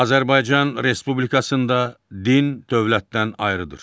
Azərbaycan Respublikasında din dövlətdən ayrıdır.